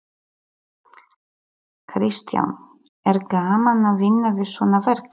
Kristján: Er gaman að vinna við svona verk?